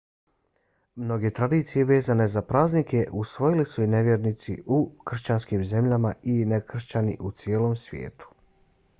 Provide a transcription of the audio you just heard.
mnoge tradicije vezane za praznike usvojili su i nevjernici u kršćanskim zemljama i nekršćani u cijelom svijetu